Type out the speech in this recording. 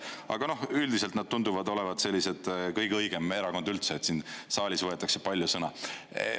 Aga üldiselt nad tunduvad olevat sellised kõige õigem erakond üldse, siin saalis võetakse palju sõna.